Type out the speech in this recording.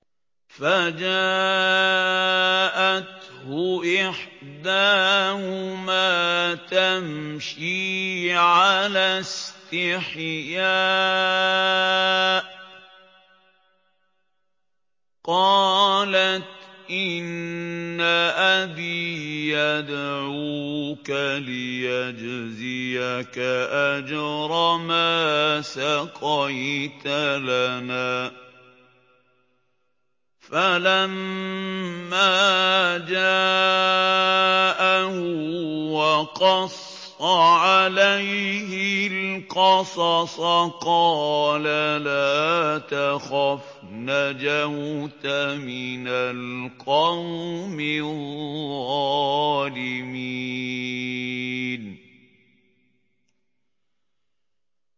فَجَاءَتْهُ إِحْدَاهُمَا تَمْشِي عَلَى اسْتِحْيَاءٍ قَالَتْ إِنَّ أَبِي يَدْعُوكَ لِيَجْزِيَكَ أَجْرَ مَا سَقَيْتَ لَنَا ۚ فَلَمَّا جَاءَهُ وَقَصَّ عَلَيْهِ الْقَصَصَ قَالَ لَا تَخَفْ ۖ نَجَوْتَ مِنَ الْقَوْمِ الظَّالِمِينَ